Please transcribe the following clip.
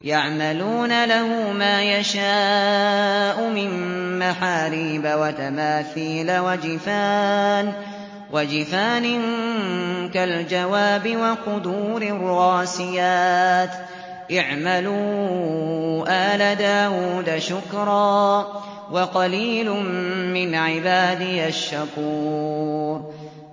يَعْمَلُونَ لَهُ مَا يَشَاءُ مِن مَّحَارِيبَ وَتَمَاثِيلَ وَجِفَانٍ كَالْجَوَابِ وَقُدُورٍ رَّاسِيَاتٍ ۚ اعْمَلُوا آلَ دَاوُودَ شُكْرًا ۚ وَقَلِيلٌ مِّنْ عِبَادِيَ الشَّكُورُ